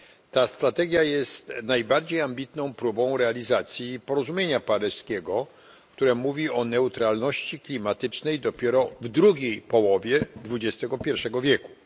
Ta strategia jest najbardziej ambitną próbą realizacji Porozumienia paryskiego, które mówi o neutralności klimatycznej dopiero w drugiej połowie XXI wieku.